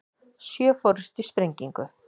Sjö fórust í sprengingu